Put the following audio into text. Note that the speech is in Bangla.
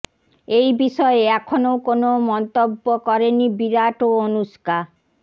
এই বিষয়ে এখনও কোনও মন্তব্য করেনি বিরাট ও অনুষ্কা